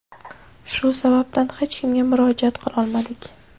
Shu sababdan hech kimga murojaat qilolmadik.